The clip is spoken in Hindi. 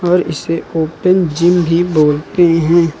और इसे ओपेन जिम भी बोलते है।